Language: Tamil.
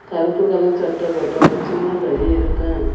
கருப்பு கலர் சட்டெ போட்ட ஒரு சின்ன பைய இருக்கான்.